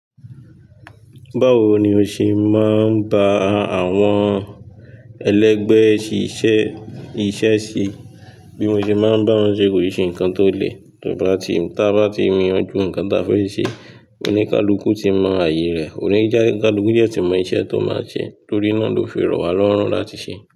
Báwo ni o ṣe máa ń bá àwọn ẹlẹgbẹ́ ṣíṣe iṣẹ́ ṣe? Bí mo ṣe bá wọn ṣe kò ṣe nǹkan tó le tí a bá ti mi ọ́ ju nǹkan tí a fẹ́ ṣe. Oníkálukú ti mọ ààyè rẹ̀, oníjà kálúkú dẹ tí mọ iṣẹ́ tó máa ṣe torí náà ló fi rọ̀ wá lọ́run láti ṣe.